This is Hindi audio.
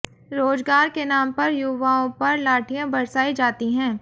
रोजगार के नाम पर युवाओं पर लाठियां बरसाई जाती हैं